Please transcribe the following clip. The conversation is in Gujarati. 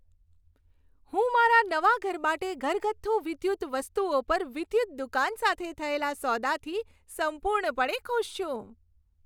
હું મારા નવા ઘર માટે ઘરગથ્થુ વિદ્યુત વસ્તુઓ પર વિદ્યુત દુકાન સાથે થયેલા સોદાથી સંપૂર્ણપણે ખુશ છું.